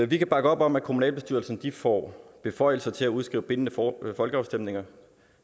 vi kan bakke op om at kommunalbestyrelserne får beføjelser til at udskrive bindende folkeafstemninger